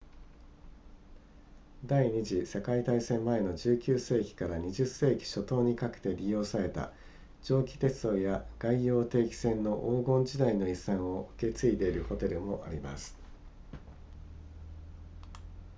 第二次世界大戦前の19世紀から20世紀初頭にかけて利用された蒸気鉄道や外洋定期船の黄金時代の遺産を受け継いでいるホテルもあります